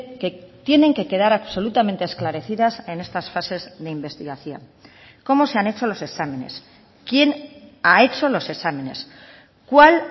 que tienen que quedar absolutamente esclarecidas en estas fases de investigación cómo se han hecho los exámenes quién ha hecho los exámenes cuál